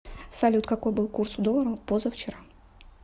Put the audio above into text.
салют какой был курс у доллара позавчера